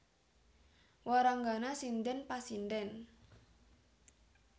Waranggana sindhèn pasindhèn